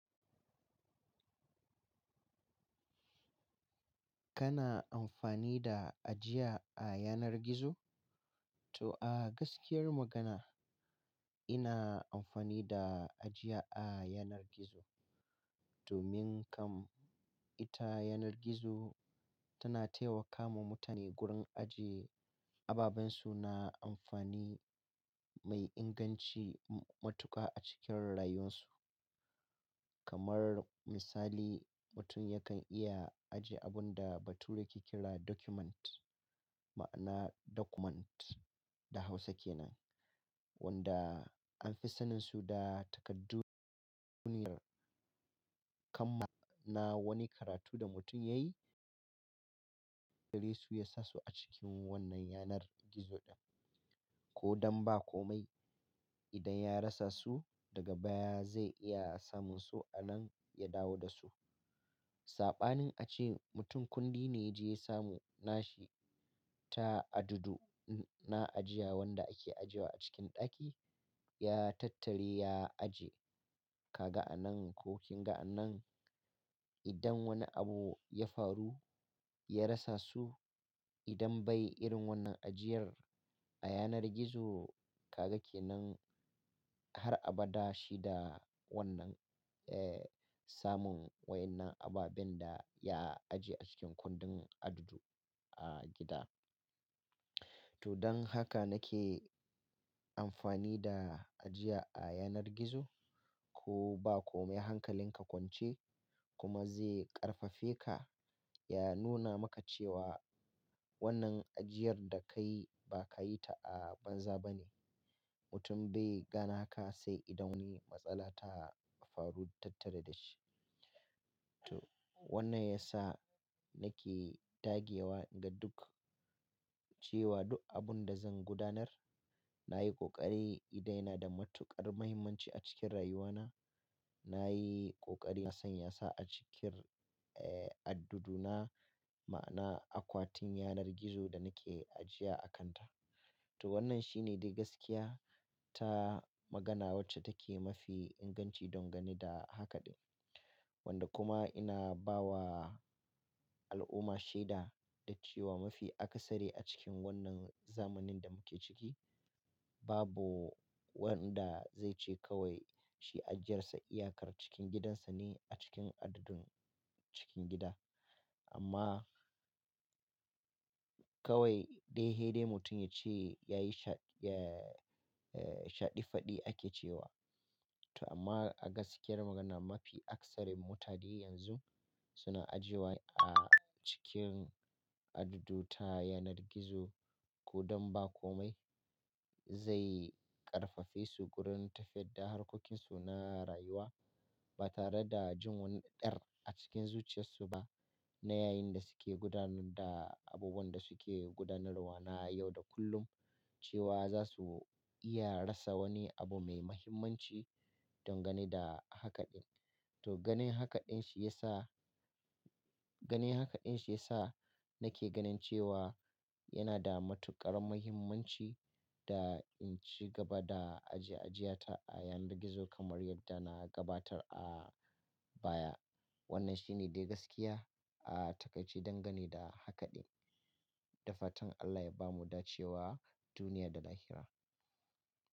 Kana amfani da ajiya a yanar gizo? To a gaskiyar magana ina amfani da ajiya a yanar gizo domin kam ita yanar gizo tana taimakawa mutane gurin ajiye ababen su na amfani mai inganci matuƙa a cikin rayuwarsu. Kamar misali, mutum yakan iya ajiye abun da bature ke kira document, ma'ana document da Hausa ke nan, wanda an fi saninsu da takardu duniyar. Kam ma na wani karatu da mutum yayi, kare su ya sa su a cikin wannan yanar gizo ɗin. Ko dan ba komai, idan ya rasa su daga baya zai iya samun su a nan ya dawo da su. Saɓanin ace mutum kundi ne ya je ya samu nashi ta adudu na ajiya wanda ake ajiye wa a cikin ɗaki, ya tattare ya ajiye ka ga'a nan ko kin ga'a nan. Idan wani abu ya faru ya rasa su, idan bai irin wannan ajiyar a yanar gizo kaga ke nan har abada shi da wannan, eh, samun waɗannan ababen da ya ajiye a cikin kundin adudu a gida. To don haka nake amfani da ajiya a yanar gizo. Ko ba komai hankalin ka kwance kuma zai ƙarfafe ka, ya nuna maka cewa wannan ajiyar da ka yi ba ka yi ta a banza ba ne. Mutum bai gane haka sai idan wani matsala ta faru tattare da shi. To wannan ya sa nake dage wa inga duk cewa duk abun da zan gudanar na yi ƙoƙari. Idan yana da matuƙar muhimmanci a cikin rayuwana, na yi ƙoƙari na sanya sa a cikin, eh, adduduna ma'ana akwatin yanar gizo da nake ajiya a kanta. To wannan shi ne dai gaskiya ta magana wacce take mafi inganci don gani da hakaɗin. Wanda kuma ina ba wa al'umma shaida da cewa mafi akasari a cikin wannan zamanin da muke ciki, babu wanda zai ce kawai shi ajiyarsa iyakar cikin gidansa ne a cikin addadin cikin gida. Amma kawai dai he dai mutum ya ce ya yi sha, eh, shaɗi faɗi ake cewa. To amma a gaskiyar magana mafi akasarin mutane yanzu suna ajiyewa a cikin adduɗu ta yanar gizo. Ko dan ba komai zai ƙarfafe su gurin tafiyar da harkokinsu na rayuwa ba tare da jin wani ɗar a cikin zuciyarsu ba. Na yayin da suke gudanar da abubuwan da suke gudanarwa na yau da kullum cewa za su iya rasa wani abu mai muhimmanci don gani da hakaɗin. To ganin hakaɗin shi ya sa, ganin hakaɗin shi ya sa nake ganin cewa yana da matuƙar muhimmanci da in ci gaba da ajiye ajiyata a yanar gizo kamar yadda na gabatar a baya. Wannan shi ne dai gaskiya a takai ce don gani da hakaɗin. Da fatan Allah ya bamu dace wa duniya da lahira.